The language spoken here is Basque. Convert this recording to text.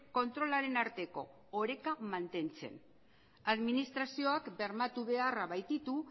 kontrolaren arteko oreka mantentzen administrazioak bermatu beharra baititu